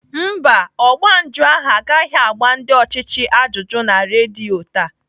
Mba, ọgba njụ ahụ agaghị agba ndị ọchịchị ajụjụ na redio taa.